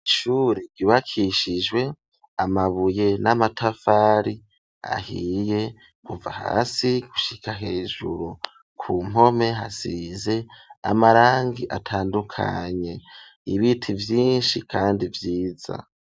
Ishure ryubakishijwe amabuye n'amatafari ahiye kuva hasi gushika hejuru. Ku mpome hasize amarangi atandukanye. Ibiti byinshi kandi vyiza.